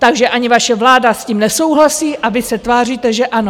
Takže ani vaše vláda s tím nesouhlasí, a vy se tváříte, že ano.